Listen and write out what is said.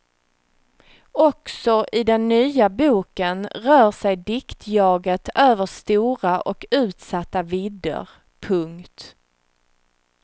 Också i den nya boken rör sig diktjaget över stora och utsatta vidder. punkt